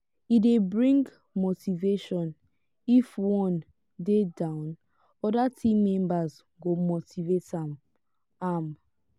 e de bring motivation if one de down other team members go motivate am am